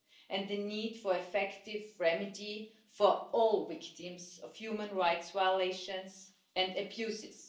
and the need for an effective remedy for all victims of human rights violations and abuses.